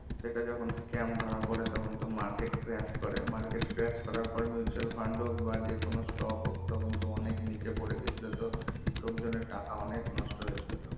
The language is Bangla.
সেটা যখন scam ধরা পরে তখন তো market crash করে market crash করার পরে mutual fund হোক বা বা যে কোনো stock হোক তখন তো অনেক নিচে পরে গেছিলো তো লোক জন এর টাকা অনেক নষ্ট হয়েছিল তো